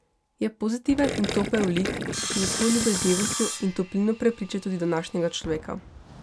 Je pozitiven in topel lik, ki s svojo ljubeznivostjo in toplino prepriča tudi današnjega človeka.